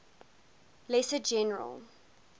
lesser general